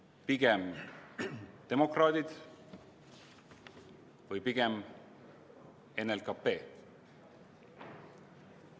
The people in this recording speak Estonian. Kas pigem demokraadid või pigem NLKP?